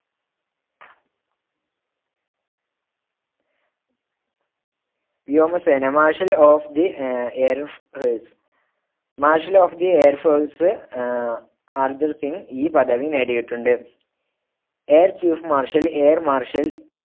വ്യോമസേന marshal of the ah airforce marshal of the airforce ah Singh ഈ പദവി നേടിയിട്ടുണ്ട്. air chief marshal, air marshal